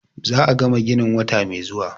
Za a gama ginin wata mai zuwa.